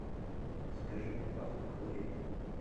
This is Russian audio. закажи мне пасту колгейт